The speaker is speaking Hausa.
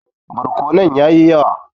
Barkonon ya yi yawa.